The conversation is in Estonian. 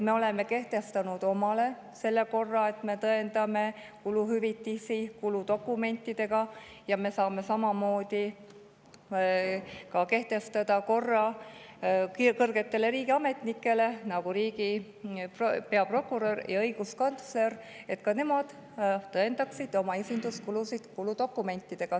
Me oleme endale kehtestanud korra, et me tõendame kuluhüvitisi kuludokumentidega, ja me saame samamoodi kehtestada korra kõrgetele riigiametnikele, nagu riigi peaprokurör ja õiguskantsler, et ka nemad tõendaksid oma esinduskulusid kuludokumentidega.